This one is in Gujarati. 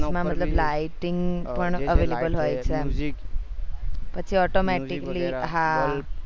માં મતલબ lighting પણ available હોય છે પછી automatically હા